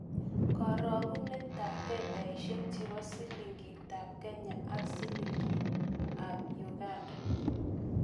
Karogunetap fedhaisiek chepo silingitap Kenya ak silingitap Uganda